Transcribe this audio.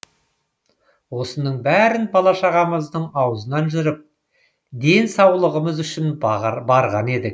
осының бәрін бала шағамыздың аузынан жырып денсаулығымыз үшін барған едік